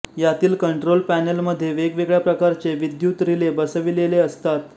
यातील कंट्रोल पॅनेलमध्ये वेगवेगळ्या प्रकारचे विद्युत रिले बसविलेले असतात